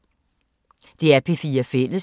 DR P4 Fælles